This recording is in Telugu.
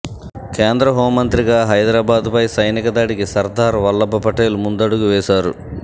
కేంద్ర హోం మంత్రిగా హైదరాబాద్పై సైనిక దాడికి సర్దార్ వల్లబ్ పటేల్ ముందడుగు వేశారు